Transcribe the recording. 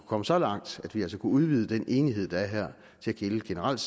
komme så langt at vi altså kunne udvide den enighed der er her til at gælde generelt